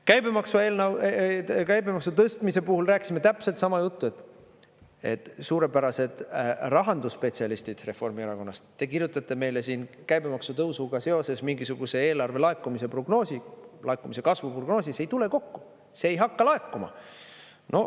Käibemaksu tõstmise puhul rääkisime täpselt sama juttu, et suurepärased rahandusspetsialistid Reformierakonnast, te kirjutate meile siin käibemaksu tõusuga seoses mingisuguse eelarve laekumise prognoosi, laekumise kasvu prognoosi – see ei tule kokku, see ei hakka laekuma.